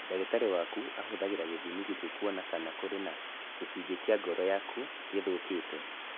Ndagĩtarĩ waku ahũthagĩra gĩthimi gĩkĩ kũona kana kũrĩ na gĩcunjĩ kĩa ngoro yaku gĩthũkĩte.